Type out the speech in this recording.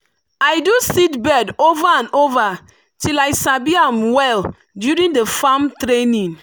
i do seedbed over and over till i sabi am well during the farm training.